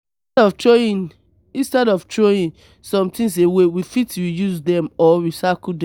instead of throwing instead of throwing some things away we fit reuse them or recycle them